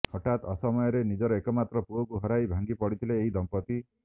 ହଠାତ୍ ଅସମୟରେ ନିଜର ଏକମାତ୍ର ପୁଅକୁ ହରାଇ ଭାଂଗିପଡିଥିଲେ ଏହି ଦମ୍ପତି